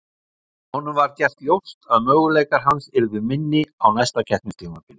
Honum var gert ljóst að möguleikar hans yrðu minni á næsta keppnistímabili.